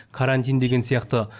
карантин деген сияқты